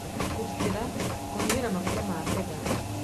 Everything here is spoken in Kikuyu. Kũgitĩra: Kũhihĩria maguta ma betha,